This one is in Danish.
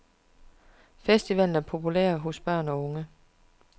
Festivalen er populær hos børn og unge.